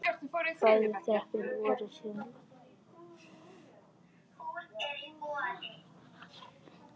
Bæði þrepin voru síðan lækkuð.